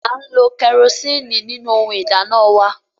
A ń lo kerosiini nínú ohùn ìdáná wà